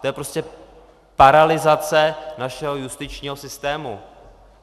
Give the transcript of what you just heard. To je prostě paralyzace našeho justičního systému.